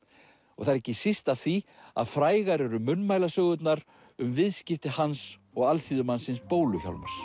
og það er ekki síst af því að frægar eru munnmælasögurnar um viðskipti hans og alþýðumannsins bólu Hjálmars